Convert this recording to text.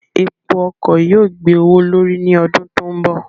Epo ọkọ̀ yóò gbé owó l'órí ní ọdún tó ń bọ̀.